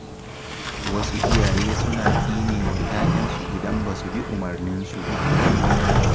Wasu iyaye suna tsinewa ‘ya‘yansu idan ba su bi umarninsu ba.